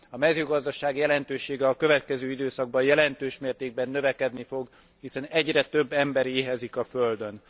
A mezőgazdaság jelentősége a következő időszakban jelentős mértékben növekedni fog, hiszen egyre több ember éhezik a Földön.